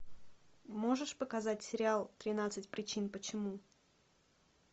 можешь показать сериал тринадцать причин почему